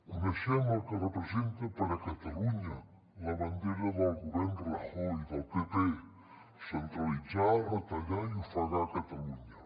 coneixem el que representa per a catalunya la bandera del govern rajoy del pp centralitzar retallar i ofegar catalunya